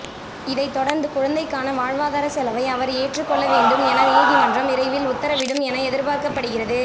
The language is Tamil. இதை தொடர்ந்து குழந்தைக்கான வாழ்வாதார செலவை அவர் ஏற்று கொள்ள வேண்டும் என நீதிமன்றம் விரைவில் உத்தரவிடும் என எதிர்பார்க்கப்படுகிறது